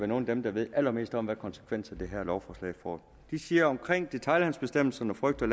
nogle af dem der ved allermest om hvad konsekvenser det her lovforslag får de siger men omkring detailhandelsbestemmelserne frygter